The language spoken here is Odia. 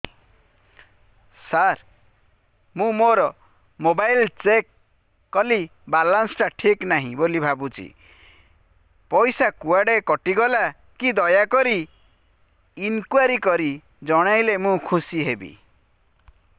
ସାର ମୁଁ ମୋର ମୋବାଇଲ ଚେକ କଲି ବାଲାନ୍ସ ଟା ଠିକ ନାହିଁ ବୋଲି ଭାବୁଛି ପଇସା କୁଆଡେ କଟି ଗଲା କି ଦୟାକରି ଇନକ୍ୱାରି କରି ଜଣାଇଲେ ମୁଁ ଖୁସି ହେବି